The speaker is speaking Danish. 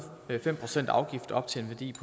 fem procent afgift op til en værdi